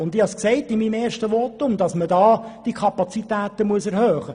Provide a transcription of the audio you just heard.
Ich habe in meinem ersten Votum erwähnt, dass die Kapazitäten erhöht werden müssen.